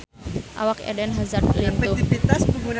Awak Eden Hazard lintuh